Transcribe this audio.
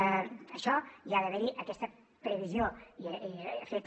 en això hi ha d’haver hi aquesta previsió feta